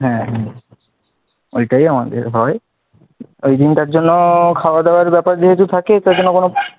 হ্যাঁ ওইটাই আমাদের হয়, ঐ দিনটার জন্য খাওয়া দাওয়ার ব্যাপার যেহেতু থাকে তার জন্য কোন,